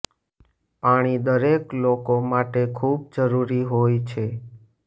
પાણી દરેક લોકો માટે ખૂબ જરૂરી હોય છે